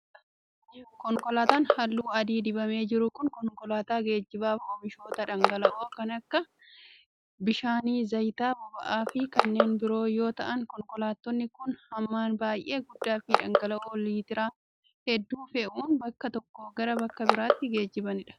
Konkolaataan haalluu adii dibamee jiru kun, konkolaataa geejiba oomishoota dhangala'oo kan akka bishaanii, zayita boba'aa fi kanneen biroo yoo ta'an, konkolaattonni kun hammaan baay'ee guddaa fi dhangala'oo liitira hedduu fe'uun bakka tokkoo gara bakka biraatti geejibsiisu.